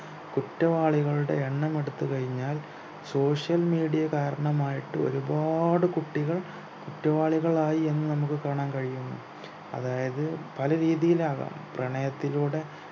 കുറ്റവാളികളുടെ എണ്ണം എടുത്തു കഴിഞ്ഞാൽ social media കാരണമായിട്ട് ഒരുപാട് കുട്ടികൾ കുറ്റവാളികളായി എന്ന് നമുക്ക് കാണാൻ കഴിയുന്നു അതായത് പല രീതിയിലാകാം പ്രണയത്തിലൂടെ